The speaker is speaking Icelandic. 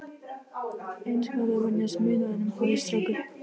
Eins gott að venjast munaðinum, hafði strákur